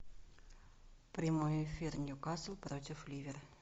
прямой эфир ньюкасл против ливер